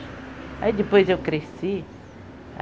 Aí depois eu cresci.